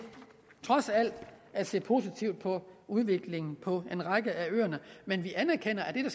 trods alt at se positivt på udviklingen på en række af øerne men vi anerkender at det